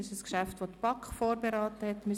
Das ist ein Geschäft, das die BaK vorberaten hat.